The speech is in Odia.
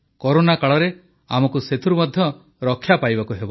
କରୋନା କାଳରେ ଆମକୁ ସେଥିରୁ ମଧ୍ୟ ରକ୍ଷା ପାଇବାକୁ ହେବ